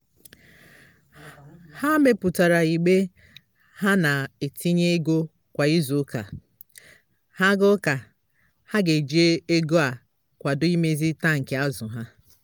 ha meputara igbe ha na-etinye ego kwa izu ụka. ha ga ụka. ha ga eji ego a akwado imezi tankị azụ ha